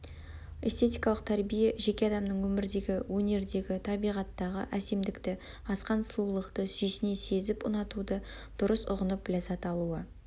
эстетикалық тәрбие жеке адамның өмірдегі өнердегі табиғаттағы әсемдікті асқан сұлулықты сүйсіне сезіп ұнатуды дұрыс ұғынып ләззат алуы